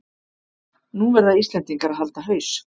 Nú verða Íslendingar að halda haus